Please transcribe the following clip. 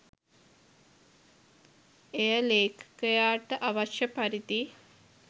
එය ලේඛකයාට අවශ්‍ය පරිදි